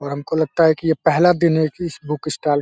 और हमको लगता है कि ये पहला दिन है की इस बुक स्टाल --